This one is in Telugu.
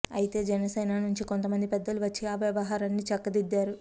అయితే జనసేన నుంచి కొంతమంది పెద్దలు వచ్చి ఆ వ్యవహారాన్ని చక్కదిద్దారు